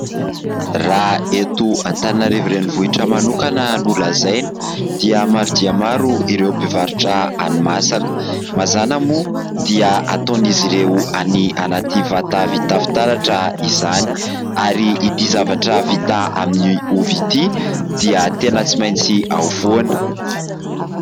Raha eto Antananarivo renivohitra manokana no lazaina dia maro dia maro ireo mpivarotra hanimasaka. Mazàna moa dia ataon'izy ireo any anaty vata vita fitaratra izany ary ity zavatra vita amin'ny ovy ity dia tena tsy maintsy ao foana.